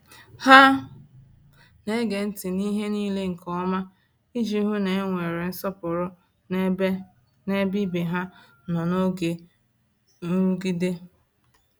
Ha na-ege ntị n’ihe niile nke ọma iji hụ na e nwere nsọpụrụ n’ebe n’ebe ibe ha nọ n’oge nrụgide.